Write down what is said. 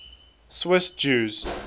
swiss jews